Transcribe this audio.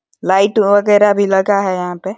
Light वगैरह भी लगा है यहाँ पे।